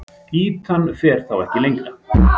Ýtan fer þá ekki lengra.